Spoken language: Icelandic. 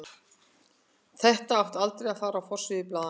Þetta átti aldrei að fara á forsíður blaðanna.